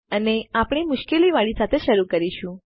અને આપણે મુશ્કેલ વાળી સાથે શરુ કરીશું